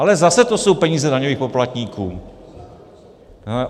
Ale zase jsou to peníze daňových poplatníků.